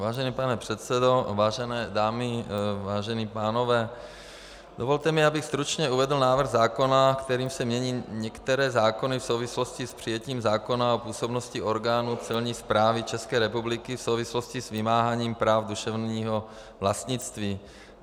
Vážený pane předsedo, vážené dámy, vážení pánové, dovolte mi, abych stručně uvedl návrh zákona, kterým se mění některé zákony v souvislosti s přijetím zákona o působnosti orgánů Celní správy České republiky v souvislosti s vymáháním práv duševního vlastnictví .